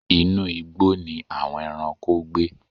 Inu igbó ni àwon ẹranko gbe.